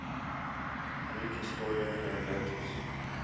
greek historian herodotus